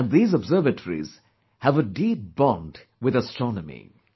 And these observatories have a deep bond with astronomy